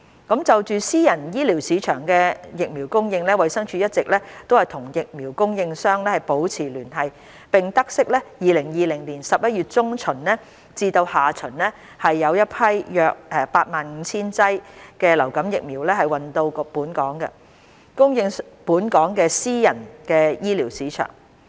就私人醫療市場的疫苗供應，衞生署一直與疫苗供應商保持聯繫，並得悉2020年11月中旬至下旬有新一批約 85,000 劑流感疫苗運到香港，供應本港私人醫療市場。